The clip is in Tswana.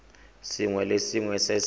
sengwe le sengwe se se